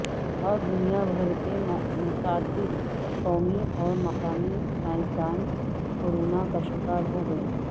اور دنیا بھر کے متعدد قومی اور مقامی سیاستدان کورونا کا شکار ہو گئے